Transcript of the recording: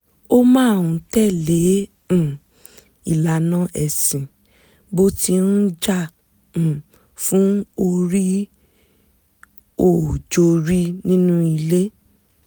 ó máa ń tẹ̀lé um ìlànà ẹ̀sìn bó ti ń jà um fún orí-ò-jorí nínú ilé